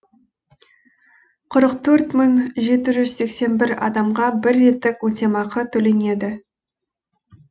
қырық төрт мың жеті жүз сексен бір адамға бір реттік өтемақы төленеді